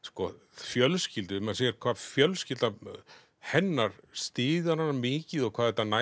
fjölskyldu maður sér hvað fjölskylda hennar styður hana mikið og hvað þetta nær